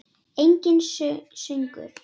Enginn söngur.